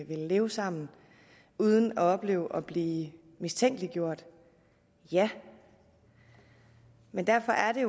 vil leve sammen uden at opleve at blive mistænkeliggjort ja men derfor er det